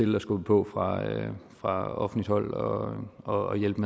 må skubbe på fra offentligt hold og hjælpe